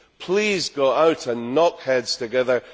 Please go out and knock heads together.